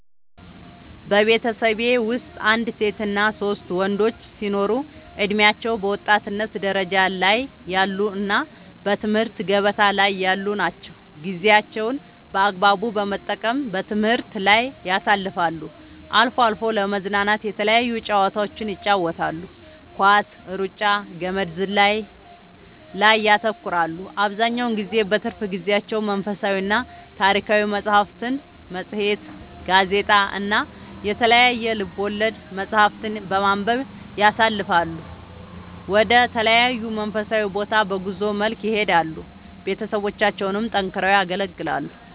በቤተሠቤ ወስጥ አንድ ሴትና ሶስት ወንዶች ሲኖሩ እድሜያቸው በወጣትነት ደረጃ ላይ ያሉ እና በትምህርት ገበታ ላይ ያሉ ናቸው ጌዜያቸውን በአግባቡ በመጠቀም በትምህርት ላይ ያሳልፋሉ አልፎ አልፎ ለመዝናናት የተለያዩ ጨዋታዎችን ይጫወታሉ ኳስ ,እሩጫ ,ገመድ ዝላይ ላይ ያተኩራሉ አብዛኛውን ጊዜ በትርፍ ጊዜያቸው መንፈሳዊና ታሪካዊ መፅሐፍትን ,መፅሄት ,ጋዜጣ እና የተለያዩ ልቦለድ መፅሐፍትን በማንበብ ያሣልፈሉ ወደ ተለያዩ መንፈሳዊ ቦታ በጉዞ መልክ ይሄዳሉ ቤተሠቦቻቸውን ጠንክረው ያገለግላሉ